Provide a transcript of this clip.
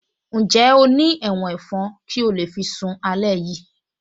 Ǹjẹ́ o ní ẹ̀wọ̀n ẹ̀fọn kí o lè fi sún alẹ́ yìí